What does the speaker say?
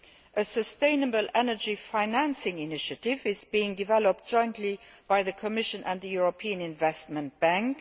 A sustainable energy financing initiative is being developed jointly by the Commission and the European Investment Bank.